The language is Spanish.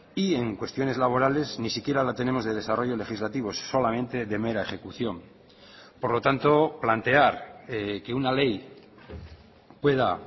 y en cuestiones laborales ni siquiera la tenemos de desarrollo legislativo solamente de mera ejecución por lo tanto plantear que una ley pueda